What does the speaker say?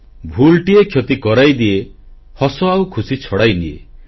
ଭୁଲଟିଏ କ୍ଷତି କରାଇଦିଏ ହସ ଆଉ ଖୁସି ଛଡ଼ାଇନିଏ